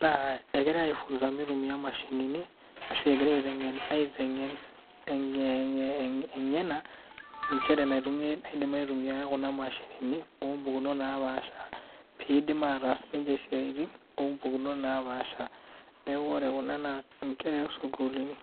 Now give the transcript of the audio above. naa egirae aifunga mitumiya mashinini ashu egirae eitengen engena nchere naidim aitumiyia kuna mashini opmukunot naapaasha pee eidim ninche ataas siaitin ompukunot napaashari. Neeku ore kuna naa nkera osukulini.